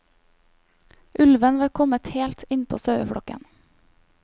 Ulven var kommet helt innpå saueflokken.